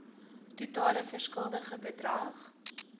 totale verskuldigde bedrag